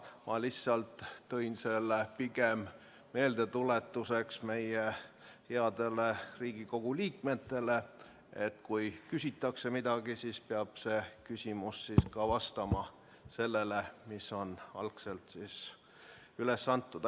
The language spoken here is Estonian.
Ma lihtsalt tõin selle meie headele Riigikogu liikmetele meeldetuletuseks, et kui midagi küsitakse, siis peab küsimus vastama sellele teemale, mis on algselt üles antud.